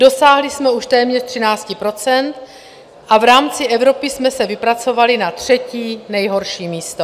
Dosáhli jsme už téměř 13 % a v rámci Evropy jsme se vypracovali na třetí nejhorší místo.